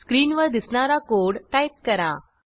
स्क्रीनवर दिसणारा code type करा